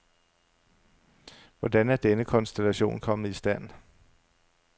Hvordan er denne konstellation kommet i stand?